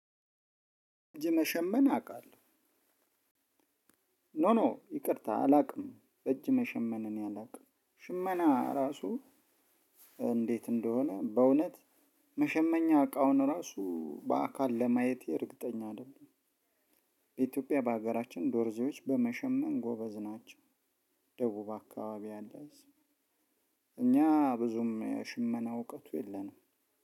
እጅ መሸመን አውቃለሁ። ኖ ኖ ይቅርታ አላውቅም እጅ መሸመን እኔ አውቅም ሽመና ራሱ እንዴት እንደሆነ በእውነት መሸመኛ እቃውን ራሱ በአካል ለማየቴ እርግጠኛ አይደለሁም። በኢትዮጵያ በሀገራችን ዶርዜዎች በመሸመን ጎበዝ ናቸው። ደቡብ አካባቢ ያሉት እኛ ብዙም የሽመና እውቀቱ የለንም።